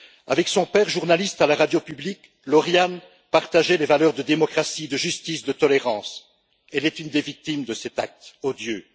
Avec son père, journaliste à la radio publique, Lauriane partageait des valeurs de démocratie, de justice, de tolérance, elle est une des victimes de cet acte odieux.